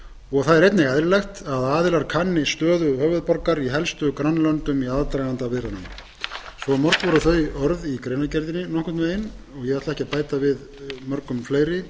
leið einnig er eðlilegt að aðilar kanni stöðu höfuðborgar í helstu grannlöndum í aðdraganda viðræðnanna svo mörg voru þau orð í greinargerðinni nokkurn veginn ég ætla ekki að bæta við mörgum fleiri